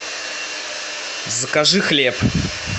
закажи хлеб